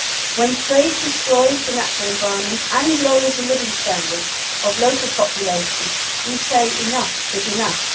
When trade destroys the natural environment and lowers the living standards of local populations, we say enough is enough.